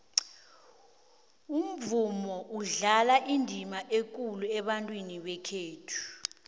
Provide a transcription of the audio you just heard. umvumo udlala indima ekulu ebantwini bekhethu